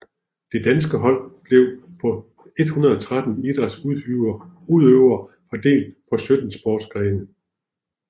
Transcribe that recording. Det danske hold blev på 113 idrætsudøvere fordelt på sytten sportsgrene